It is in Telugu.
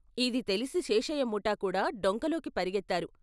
ఇది తెలిసి శేషయ్య ముఠా కూడా డొంకలోకి పరుగెత్తారు.